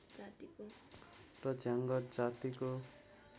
र झाँगड जातिको